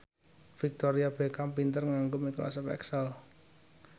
Victoria Beckham pinter nganggo microsoft excel